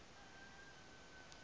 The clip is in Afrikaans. hoër rang gehou